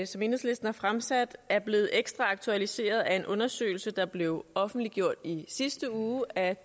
som enhedslisten har fremsat er blevet ekstra aktualiseret af en undersøgelse der blev offentliggjort i sidste uge af